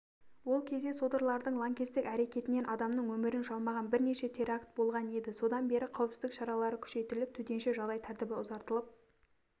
ол кезде содырлардың лаңкестік әрекетінен адамның өмірін жалмаған бірнеше теракт болған еді содан бері қауіпсіздік шаралары күшейтіліп төтенше жағдай тәртібі ұзартылып